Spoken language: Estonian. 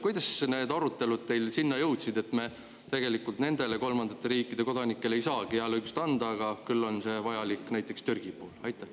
Kuidas need arutelud jõudsid teil sinna, et me tegelikult nendele kolmandate riikide kodanikele ei saagi hääleõigust anda, küll on see vajalik näiteks Türgi puhul?